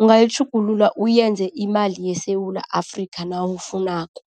ungayitjhugulula uyenze imali yeSewula Afrika nawufunako.